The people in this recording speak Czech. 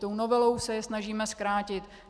Tou novelou se je snažíme zkrátit.